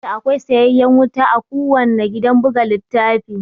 Ya kamata akwai sayayyen wuta a kuwanna gidan buga littafi